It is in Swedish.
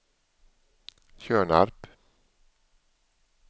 Tjörnarp